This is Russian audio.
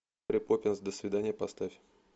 мэри поппинс до свидания поставь